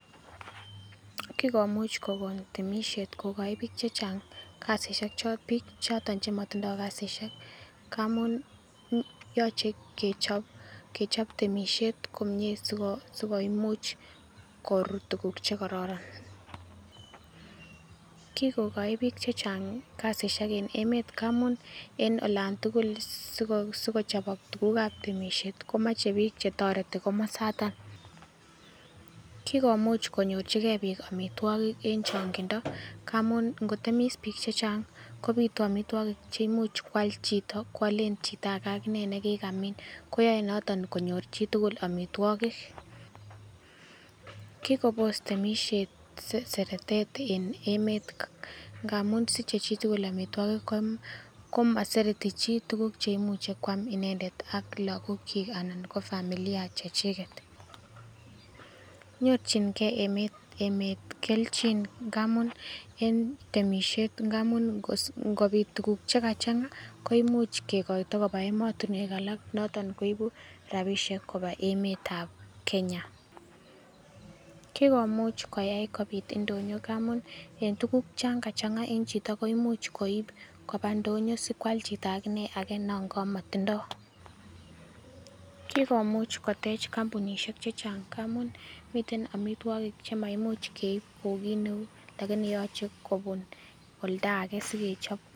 Kikomuch kokon temisiet kokoi biik chechang' kasisiek chon biik choton chemotindoi kasisiek ngamun yoche kechop kechop temisiet komie sikomuch korut tuguk chekororon. Kikokoi biik chechang' kasisiek en emet ngamun en olan tugul sikochobok tugukab temisiet komoche biik chetoreti komosoton. Kikomuch konyorchikei biik omitwogik en chong'indo ngamun ikotemis biik chechang' kobitu omitwogik cheimuch kwal chito kwolen chito age nekikamin. Koyoe noton konyor chitugul omitwogik. Kikobos temisiet seretet en emet ngamun siche chitugul omitwogik, ko komosereti chi tuguk cheimuche kwam inendet ak logokyik ana ko familia chechiket. Nyorchingei emet emet kelchin ngamun en temisiet ngamun ingos ingobit tuguk chekachang'a koimuch kekoito koba emotinwek alak noton koibu rabisiek kobwa emetab Kenya. Kikomuch koyai kobit ndonyo ngamun en tuguk chon kachang'a en chito koimuch koib koba ndonyo sikwal chito agine age nekamotindo. Kikomuch kotech kompunisiek chechang' ngamun miten omitwogik chemaimuch keib kou kit neu [cs lakini yoche kobun oldage sikechob.